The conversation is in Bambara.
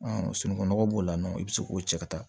sunungunɔgɔ b'o la n'o i bi se k'o cɛ ka taa